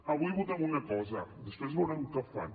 avui votem una cosa després veurem què fan